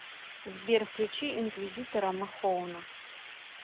сбер включи инквизитора махоуна